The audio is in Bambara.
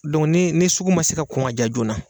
nii ni sugu ma se ka kɔn ŋa diya joona